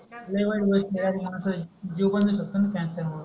लय वाईट होते खेड्यातले मानस आहे जीव पण नाही शकत कॅन्सर वर